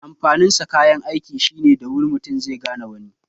Amfanin sa kayan aiki shine da wuri mutu zai gane wani